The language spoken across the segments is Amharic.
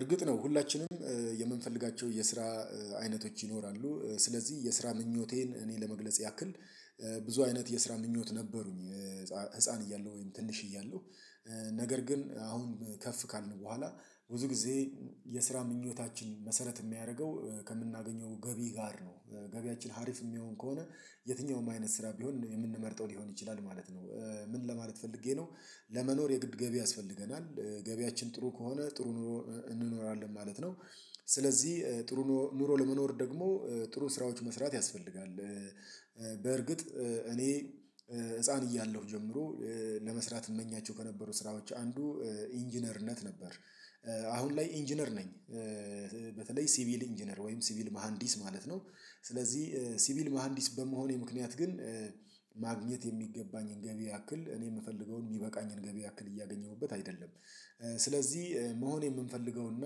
እርግጥ ነው ሁላችንም የምንፈልጋቸው የስራ አይነቶች ይኖራሉ። ስለዚህ የስራ ምኞቴን እኔ ለመግለጽ ያክል ብዙ አይነት የስራ ምኞት ነበሩኝ። ህፃን እያለሁ ወይም ትንሽ እያለሁ። ነገር ግን አሁን ከፍ ካልን በኋላ ብዙ ጊዜ የስራ ምኞታችን መሰረት የሚያደርገው ከምናገኘው ገቢ ጋር ነው ገቢያችን ሀሪፍ የሚሆን ከሆነ የትኛውም አይነት ስራ ቢሆን የምንመርጠው ሊሆን ይችላል ማለት ነው። ምን ለማለት ፈልጌ ነው? ለመኖር የግድ ገቢ ያስፈልገናል ገቢያችን ጥሩ ከሆነ ጥሩ እንኖራለን ማለት ነው። ስለዚህ ጥሩ ኑሮ ለመኖር ደግሞ ጥሩ ስራዎች መስራት ያስፈልጋል። በርግጥ እኔ ህፃን እያለሁ ጀምሮ ለመስራት እመኛቸው ከነበሩት ስራዎች አንዱ ኢንጂነርነት ነበር። አሁን ላይ ኢንጂነር ነኝ። በተለይ ሲቪል ኢንጂነር ወይም ሲቪል መሃንዲስ ማለት ነው። ስለዚህ ሲቪል መሃንዲስ በመሆኔ ምክንያት ግን ማግኘት የሚገባኝን ገቢ ያክል እኔ የምፈልገውን የሚበቃኝን ገቢ ያክል እያገኘሁበት አይደለም። ስለዚህ መሆን የምንፈልገውና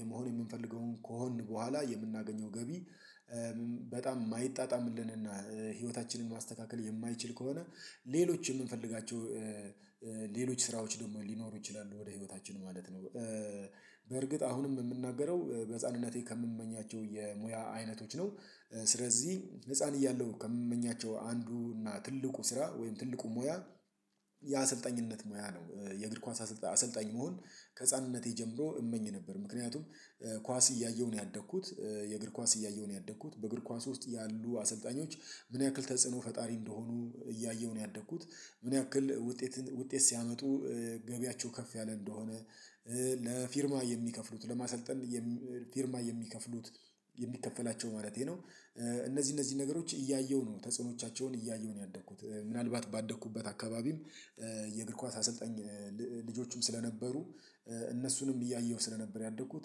የመሆን የምንፈልገውን ከሆንን በኋላ የምናገኘው ገቢ። በጣም የማይጣጣምልንና ህይወታችንን ማስተካከል የማይችል ከሆነ ሌሎች የምንፈልጋቸው ሌሎች ስራዎች ደግሞ ሊኖሩ ይችላሉ ወደ ህይወታችን ማለት ነው። በርግጥ አሁንም የምናገረው በህፃንነቴ ከምመኛቸው የሙያ አይነቶች ነው። ስለዚህ ህፃን እያለሁ ከምመኛቸው አንዱ እና ትልቁ ስራ ወይም ትልቁ ሙያ የአሰልጣኝነት ሙያ ነው። የእግር ኳስ አሰልጣኝ መሆን ከህፃንነቴ ጀምሮ እመኝ ነበር ምክንያቱም ኳስ እያየሁ ነው ያደግኩት። የእግር ኳስ እያየሁ ነው ያደግኩት በእግር ኳስ ውስጥ ያሉ አሰልጣኞች ምን ያክል ተጽዕኖ ፈጣሪ እንደሆኑ እያየሁ ነው ያደግኩት። ምን ያክል ውጤት ውጤት ሲያመጡ ገቢያቸው ከፍ ያለ እንደሆነ ለፊርማ የሚከፍሉት ለማሰልጠን ፊርማ የሚከፍሉት የሚከፈላቸው ማለቴ ነው። እነዚህ እነዚህ ነገሮች እያየሁ ነው ተጽዕኖቻቸውን እያየሁ ነው ያደግኩት ምናልባት ባደግኩበት አካባቢም የእግር ኳስ አሰልጣኝ ልጆቹም ስለነበሩ እነሱንም እያየሁ ስለነበር ያደግኩት።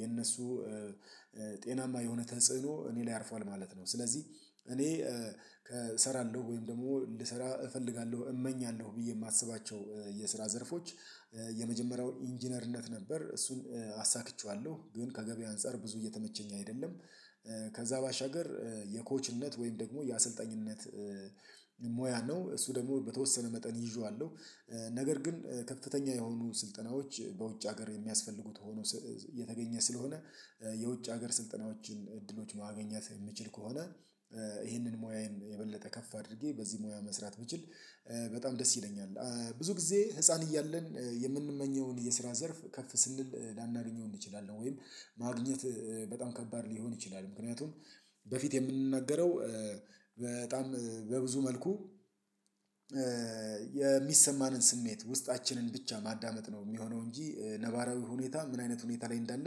የነሱ ጤናማ የሆነ ተጽዕኖ እኔ ላይ አርፏል ማለት ነው። ስለዚህ እኔ እሰራለሁ ወይም ደግሞ እንድሰራ እፈልጋለሁ እመኛለሁ ብዬ የማስባቸው የስራ ዘርፎች የመጀመሪያው ኢንጂነርነት ነበር እሱን አሳክቼዋለሁ ግን ከገበያ አንፃር ብዙ እየተመቸኝ አይደለም። ከዛ ባሻገር የኮችነት ወይም ደግሞ የአሰልጣኝነት ሙያ ነው እሱ ደግሞ በተወሰነ መጠን ይዤዋለሁ። ነገር ግን ከፍተኛ የሆኑ ስልጠናዎች በውጭ ሀገር የሚያስፈልጉት ሆኖ የተገኘ ስለሆነ የውጭ ሀገር ስልጠናዎችን እድሎች ማገኛት የሚችል ከሆነ ይህንን ሙያዬን የበለጠ ከፍ አድርጌ በዚህ ሙያ መስራት ብችል በጣም ደስ ይለኛል። ብዙ ጊዜ ህፃን እያለን የምንመኘውን የስራ ዘርፍ ከፍ ስንል ላናገኘው እንችላለን ወይም ማግኘት በጣም ከባድ ሊሆን ይችላል። ምክንያቱም በፊት የምንናገረው በጣም በብዙ መልኩ የሚሰማንን ስሜት ውስጣችንን ብቻ ማዳመጥ ነው የሚሆነው እንጂ ነባራዊ ሁኔታ ምን አይነት ሁኔታ ላይ እንዳለ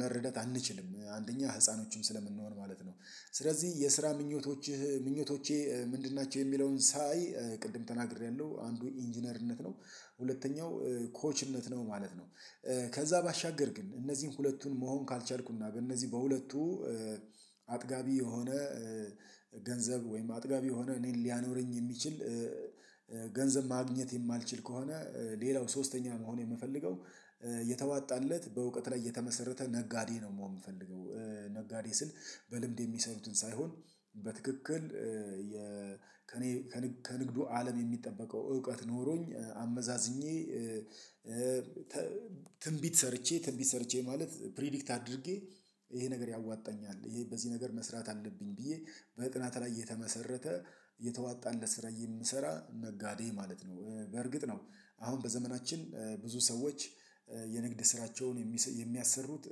መረዳት አንችልም አንደኛ ህፃኖችም ስለምንሆን ማለት ነው። ስለዚህ የስራ ምኞቶችህ ምኞቶቼ ምንድን ናቸው? የሚለውን ሳይ ቅድም ተናግሬያለሁ አንዱ ኢንጂነርነት ነው። ሁለተኛው ኮችነት ነው ማለት ነው። ከዛ ባሻገር ግን እነዚህን ሁለቱን መሆን ካልቻልኩና በእነዚህ በሁለቱ አጥጋቢ የሆነ ገንዘብ ወይም አጥጋቢ የሆነ እኔን ሊያኖረኝ የሚችል ገንዘብ ማግኘት የማልችል ከሆነ። ሌላው ሶስተኛ መሆን የምፈልገው የተዋጣለት በእውቀት ላይ የተመሰረተ ነጋዴ ነው የምሆን የምፈልገው። ነጋዴ ስል በልምድ የሚሰሩትን ሳይሆን በትክክል ከእኔ ከንግዱ አለም የሚጠበቀው እውቀት ኖሮኝ አመዛዝኜ ትንቢት ሰርቼ ትንቢት ሰርቼ ማለት ፕሪዲክት አድርጌ ይሄ ነገር ያዋጣኛል ይሄ በዚህ ነገር መስራት አለብኝ ብዬ በጥናት ላይ እየተመሠረተ የተዋጣለት ስራ የሚሰራ ነጋዴ ማለት ነው። በእርግጥ ነው አሁን በዘመናችን ብዙ ሰዎች የንግድ ስራቸውን የሚያሠሩት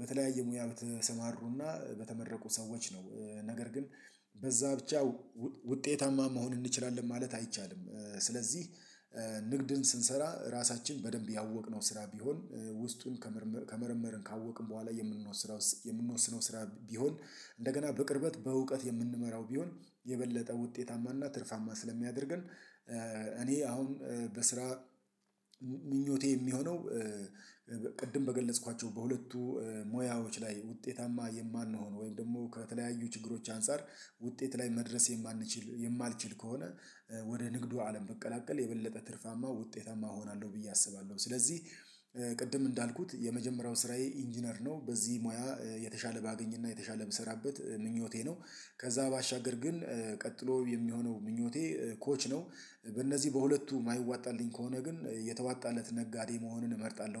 በተለያየ ሙያዎች በተሰማሩና በተመረቁ ሰዎች ነው። ነገር ግን በዛ ብቻ ውጤታማ መሆን እንችላለን ማለት አይቻልም። ስለዚህ ንግድን ስንሰራ ራሳችን በደንብ ያወቅነው ስራ ቢሆን ውስጡን ከመር ከመረመርን ካወቅን በኋላ የምንወስረው የምንወስነው ስራ ቢሆን እንደገና በቅርበት በእውቀት የምንመራው ቢሆን የበለጠ ውጤታማና ትርፋማ ስለሚያደርገን። እኔ አሁን በስራ ምኞቴ የሚሆነው ቅድም በገለጽኳቸው በሁለቱ ሙያዎች ላይ ውጤታማ የማንሆን ወይም ደግሞ ከተለያዩ ችግሮች አንፃር ውጤት ላይ መድረስ የማንችል የማልችል ከሆነ። ወደ ንግዱ አለም በቀላቀል የበለጠ ትርፋማ ውጤታማ እሆናለሁ ብዬ አስባለሁ። ስለዚህ ቅድም እንዳልኩት የመጀመሪያው ስራዬ ኢንጂነር ነው በዚህ ሙያ የተሻለ ባገኝና የተሻለ ብሠራበት ምኞቴ ነው። ከዛ ባሻገር ግን ቀጥሎ የሚሆነው ምኞቴ ኮች ነው። በእነዚህ በሁለቱ የማይዋጣልኝ ከሆነ ግን የተዋጣለት ነጋዴ መሆንን እመርጣለሁ